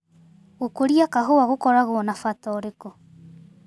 Gũkũria kahũa gũkoragwo na bata ũrĩkũ.